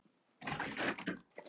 Hann er að fara í Ríkið!